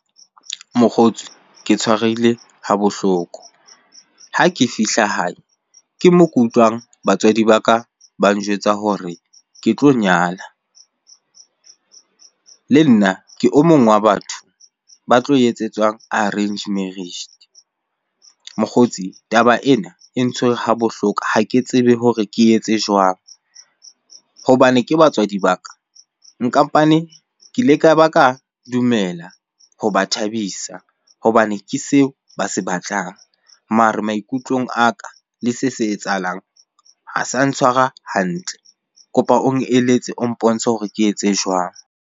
Mokgotsi ke tshwarehile ha bohloko. Ha ke fihla hae ke moo ke utlwang batswadi ba ka ba njwetsa hore ke tlo nyala. Le nna ke o mong wa batho ba tlo etsetswang arrange marriage. Mokgotsi taba ena e ntshwere ha bohloko, ha ke tsebe hore ke etse jwang? Hobane ke batswadi ba ka nkampane, ke ile ka ba ka dumela ho ba thabisa hobane ke seo ba se batlang. Mare maikutlong a ka le se se etsahalang ha sa ntshwara hantle. Kopa o eletse, o mpontshe hore ke etse jwang?